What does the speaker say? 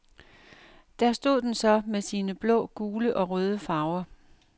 Der stod den så med sine blå, gule og røde farver.